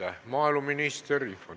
Aitäh, maaeluminister!